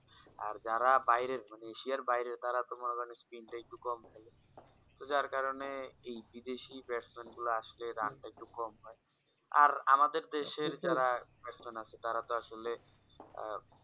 আর যারা বাইরের মানে এশিয়া বাইরে তারা তো মনে করো spin টা একটু কম থাকে তো যার কারণ এই বিদেশি batsman রা আসলে run একটু কম হয় আর আমাদের দেশের যাঁরা একজন আছে তার তো আসলে আঃ